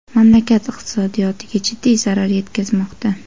mamlakat iqtisodiyotiga jiddiy zarar yetkazmoqda.